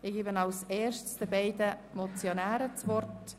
Zuerst erteile ich den beiden Motionären das Wort.